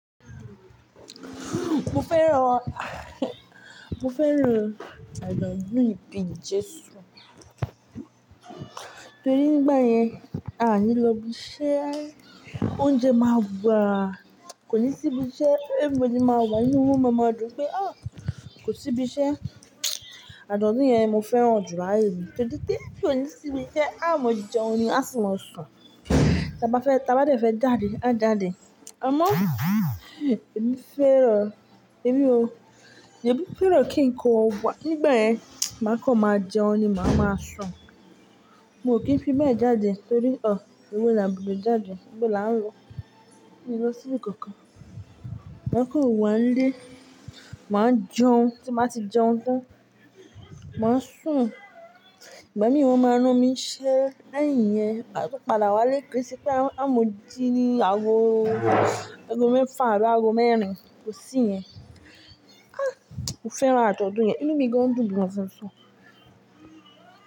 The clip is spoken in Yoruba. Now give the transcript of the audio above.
Mo fẹ́ràn, mo fẹ́ràn àájọ́dun ìbín Jesu. Torí nígbà yẹn a ní lọ ibi iṣẹ́, oúnjẹ máa wà. Kò ní sí ibi iṣẹ́ everbody máa wà nínú mọ́mọ́ ọdún pé ó, kò sí ibi iṣẹ́. Àádọ́ní yẹn mo fẹ́ràn jù láàárín mi torí pé kò ní sí ibi iṣẹ́ amọ̀ jíjọ oní a sì máa sùn. Tí a bá fẹ́, tí a bá dé fẹ́ jáde, a jáde. Ọmọ, èmi fẹ́ràn, èmi o, èmi fẹ́ràn kí n kọ́ wà. Nígbà ẹ́, má kọ́ máa jẹun ni, màá máa sùn. Mo kò kí ń fi mẹ́ẹ̀jáde torí ọ, ewo là bu dọ̀ jáde, bo là ń lo. Èmi lọ síbì kankan. Má kọ́ wá nílé, màá jẹun, tí màá ti jẹun tán, màá sùn. Ìgbà míì wọn máa rán mi iṣẹ́ lẹ́yìn yẹn, máa tó padà wá lé ke se pé amọ̀ jí ní aago mẹ́fà àbi aago mẹ́rin, kò sí yẹn. Ah! Mo fẹ́ràn àádọ́ní yẹn, inú mi gan-an dùn gan-an fún-ún fún-ún.